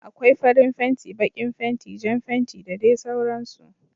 Akwai farin fenti, baƙin fenti, Jan fenti da dai sauran su